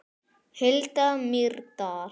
Hulda Mýrdal.